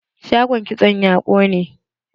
Shagon kitson ya ƙone.